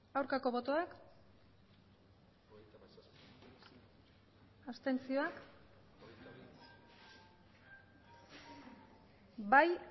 aurkako botoak abstentzioak bai